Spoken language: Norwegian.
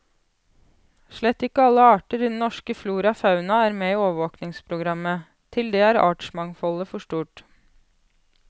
Slett ikke alle arter i den norske flora og fauna er med i overvåkingsprogrammet, til det er artsmangfoldet for stort.